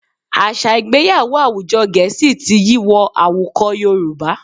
Àṣà Ìgbéyàwó àwùjọ Gẹ̀ẹ́sì ti yí wọ àwùkọ Yorùbá